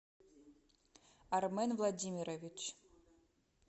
армен владимирович